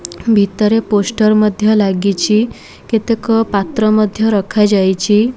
ଭିତରେ ପୋଷ୍ଟର୍ ମଧ୍ୟ ଲାଗିଛି କେତେକ ପାତ୍ର ମଧ୍ୟ ରଖାଯାଇଛି।